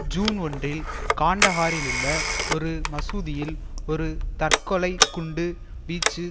June ஒன்றில் காண்டஹாரிலுள்ள ஒரு மசூதியில் ஒரு தற்கொலை குண்டு வீச்சு